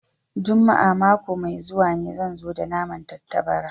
Juma'a mako mai zuwa ne zan zo da naman tattabarai